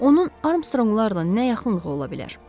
Onun Armstronglarla nə yaxınlığı ola bilər?